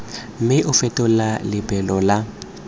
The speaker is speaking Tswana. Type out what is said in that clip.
mme o fetole lebelo la